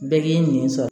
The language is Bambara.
Bɛɛ k'i nin sɔrɔ